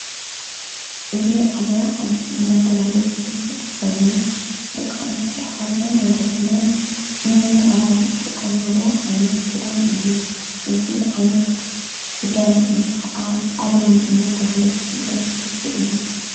እዙ ዓለባ ዓዲ እናተብሃለ ዘፍለጥ ኾይኑ ደቛንሽቲ ኣኅዋትናን ወለድናን ምምዕራግ ዝጥቆማሉ ዓይነት ክዳን እዩ:: እዙ ዓይነት ክዳን እዙይ ኸዓ ኣድያም እናተብሃለ ዘፍለ ጥልፊ እዩ::